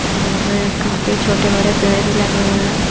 और काफी छोटे-बड़े पेड़ भी लगे हुए हैं।